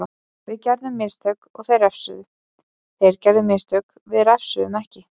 Við gerðum mistök og þeir refsuðu, þeir gerðu mistök við refsuðum ekki.